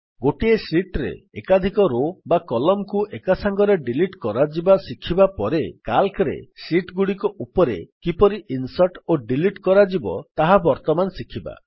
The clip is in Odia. ଗୋଟିଏ ଶୀଟ୍ ରେ ଏକାଧିକ ରୋ ବା Columnକୁ ଏକାସାଙ୍ଗରେ ଡିଲିଟ୍ କରାଯିବା ଶିଖିବା ପରେ ସିଏଏଲସି ରେ ଶୀଟ୍ ଗୁଡିକ କିପରି ଇନ୍ସର୍ଟ୍ ଓ ଡିଲିଟ୍ କରାଯିବ ତାହା ବର୍ତ୍ତମାନ ଶିଖିବା